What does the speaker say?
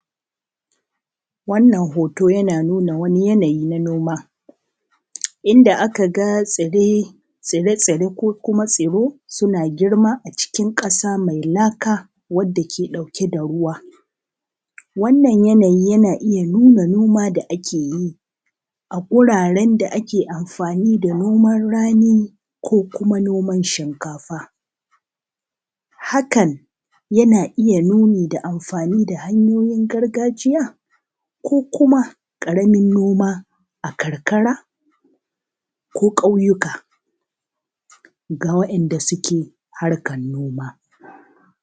Wannan hooto yanaa nuuna wani yanayi naa noma. Inda aka ga tsirai, tsire-tsire ko kumaa tsiro sunaa girma a cikin ƙasa mai laka wanda kee ɗauke da ruwa. Wannan yanayi yaanaa iya nunaa nomaa da ake yi a wuraren da akee amfaanii da noman ranii ko kumaa noman shinkafa. Hakan yanaa iya nuunii da amfanii da hanyoyin gargajiya? ko kuma ƙaramin noma a karkara ko ƙauyuka? Ga waɗanda suke harkar noma.